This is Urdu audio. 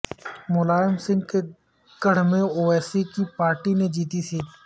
ملائم سنگھ کے گڑھ میں اویسی کی پارٹی نے جیتی سیٹ